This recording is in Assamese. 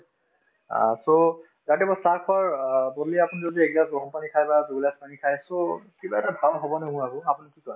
অ, so ৰাতিপুৱা চাহ খোৱাৰ অ আপুনি যদি একগিলাচ গৰম পানী খাই বা দুগিলাচ পানী খাই so কিবা এটা ভাল আৰু আপুনি কি কয়